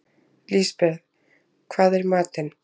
Lisbeth, hvað er í matinn?